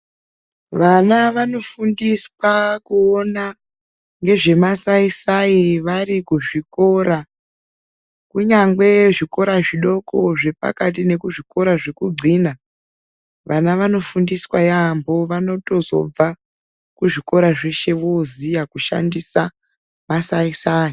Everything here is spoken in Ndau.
Vana vanofundiswa kuona ngezvemasaisai vari kuzvikora, kunyangwe zvikora zvidoko zvepakati nekuzvikora zvekudxina vana vanofundiswa yaamho vanotozobva kuzvikora zveshe voziya kushandisa masaisai.